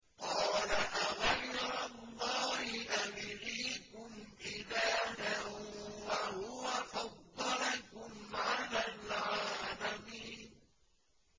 قَالَ أَغَيْرَ اللَّهِ أَبْغِيكُمْ إِلَٰهًا وَهُوَ فَضَّلَكُمْ عَلَى الْعَالَمِينَ